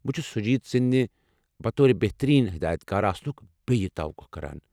بہٕ چھُس شوجیت سٕندِ بطور بہتٔریٖن ہدایتکار آسنُك بیٚیہ توقع کران۔